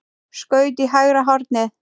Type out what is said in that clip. Skaut í hægra hornið.